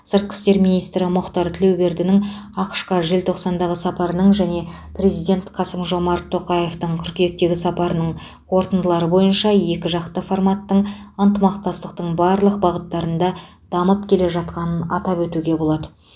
сыртқы істер министрі мұхтар тілеубердідің ақш қа желтоқсандағы сапарының және президент қасым жомарт тоқаевтың қыркүйектегі сапарының қорытындылары бойынша екіжақты форматтың ынтымақтастықтың барлық бағыттарында дамып келе жатқанын атап өтуге болады